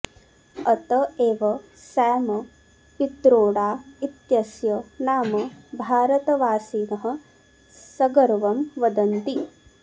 अत एव सॅम पित्रोडा इत्यस्य नाम भारतवासिनः सगर्वं वदन्ति